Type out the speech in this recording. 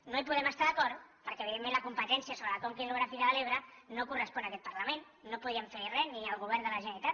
no hi podem estar d’acord perquè evidentment la competència sobre la conca hidrogràfica de l’ebre no correspon a aquest parlament no podrien fer hi res ni al govern de la generalitat